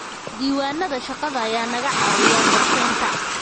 Diiwaanada shaqada ayaa naga caawiya qorshaynta.